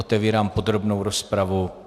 Otevírám podrobnou rozpravu.